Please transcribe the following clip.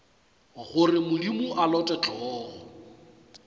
gore modimo a lote hlogo